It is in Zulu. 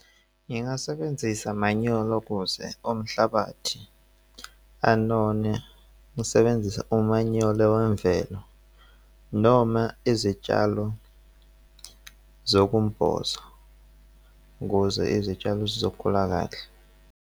Ngingasebenzisa manyolo ukuze umhlabathi anone. Ngisebenzisa umanyolo wemvelo noma izitshalo zokumboza ukuze izitshalo zizokhula kahle.